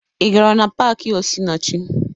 Ị gara na paakị Osinachi?